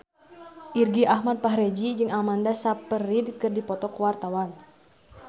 Irgi Ahmad Fahrezi jeung Amanda Sayfried keur dipoto ku wartawan